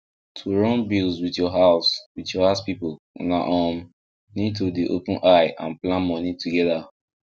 to run bills with your house with your house people una um need to dey open eye and plan money together